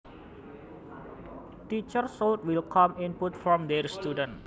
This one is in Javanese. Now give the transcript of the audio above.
Teachers should welcome input from their students